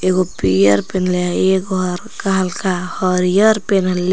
एगो पियर पेन्हले हई एगो हल्का हल्का हरियर पेन्हले--